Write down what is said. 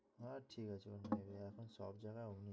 না ঠিক আছে অন্য জায়গায় এখন সব জায়গায় ওমনি,